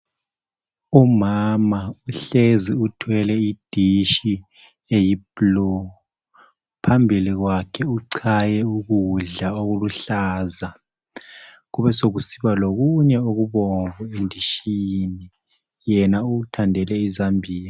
Umama uhlezi uthwele idishi eyi blu, phambili kwakhe uchaye ukudla okuluhlaza kube sokusiba lokunye okubomvu endishini yena uthandele izambiya.